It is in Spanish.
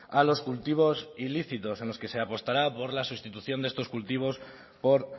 a los cultivos ilícitos en los que se apostará por la sustitución de estos cultivos por